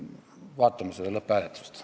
Vaatame seda lõpphääletust.